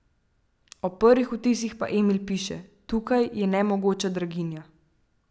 O prvih vtisih pa Emil piše: "Tukaj je nemogoča draginja.